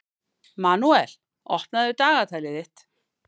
Manuel, opnaðu dagatalið mitt.